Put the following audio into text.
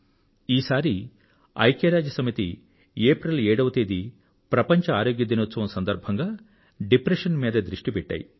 ఈసారి ఐక్యరాజ్యసమితి ఏప్రిల్ 7వ తారీఖు ప్రపంచ ఆరోగ్య దినోత్సవం సందర్భంగా డిప్రెషన్ మీద దృష్టి పెట్టాయి